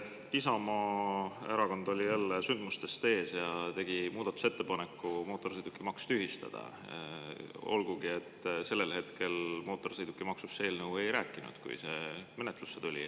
Isamaa Erakond oli jälle sündmustest ees ja tegi muudatusettepaneku mootorsõidukimaks tühistada, olgugi et see eelnõu sellel hetkel, kui see menetlusse tuli, mootorsõidukimaksust ei rääkinud.